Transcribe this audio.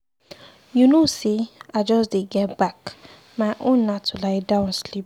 You know say I just dey get back, my own na to lie down sleep.